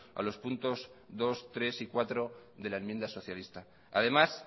a los puntos dos tres y cuatro de la enmienda socialista además